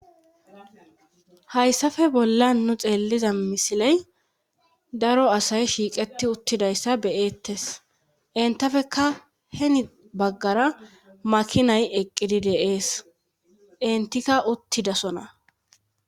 Hayssafe bolla nu xeelliza misiley daro asay shiiqeti uttidayssa beyeettes entafeka heni baggara makinay eqqidi deees entikka uttidasona